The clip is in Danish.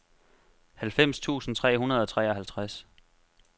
halvfems tusind tre hundrede og treoghalvtreds